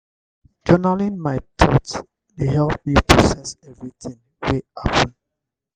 journaling my thoughts dey help me process everything wey happen.